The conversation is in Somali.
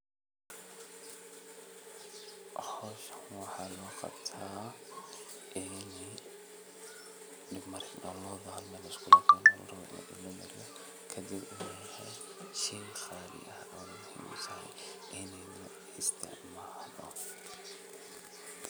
Howshan waxaa looqabta ini dibmarinta loodha hal meel liskulakeeno larabo in dib lamariyo kadib shey qaali ah oona muhiim utahay ini laisticmaalo.